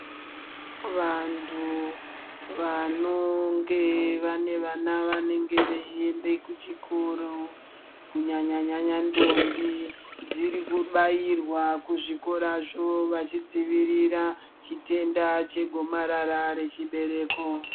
Vantu vanonga vane vana vanenge vachienda kuchikora kunyanyanyanya ndombi dziri kubairwa kuzvikorazvo vachidzivirira chitenda chegomarara pachibereko.